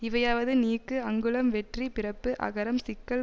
இவையாவது நீக்கு அங்குளம் வெற்றி பிறப்பு அகரம் சிக்கல்